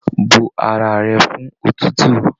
Bó ara rẹ fún òtútù!